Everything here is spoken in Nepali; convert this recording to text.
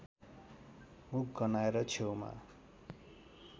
मुख गन्हाएर छेउमा